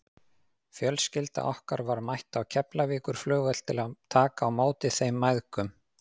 Fjölskylda okkar var mætt á Keflavíkurflugvöll til að taka á móti þeim mæðgum.